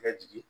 Ka jigin